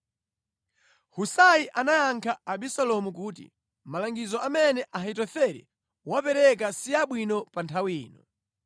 Husai anayankha Abisalomu kuti, “Malangizo amene Ahitofele wapereka si abwino pa nthawi ino.